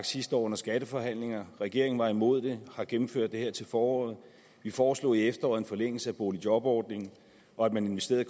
sidste år under skatteforhandlinger en regeringen var imod det og har gennemført det her til foråret vi foreslog i efteråret en forlængelse af boligjobordningen og at man investerede